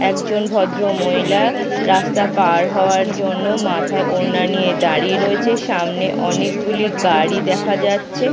একজন ভদ্রমহিলা রাস্তা পার হওয়ার জন্য মাথায় ওড়না নিয়ে দাঁড়িয়ে রয়েছে সামনে অনেকগুলি গাড়ি দেখা যাচ্ছে।